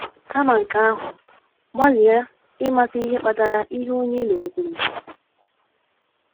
Kama nke ahụ,, gbalịa ịmata ihe kpatara ihe onye ị lụrụ kwuru.